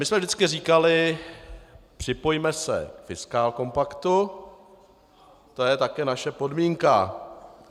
My jsme vždycky říkali: připojme se k fiskálkompaktu, to je také naše podmínka.